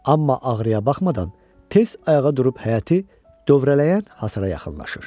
Amma ağrıya baxmadan tez ayağa durub həyəti dövrələyən hasara yaxınlaşır.